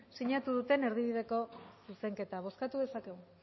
sinatu duten erdibideko zuzenketa bozkatu dezakegu